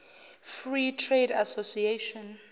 free trade association